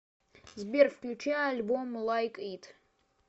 сбер включи альбом лайк ит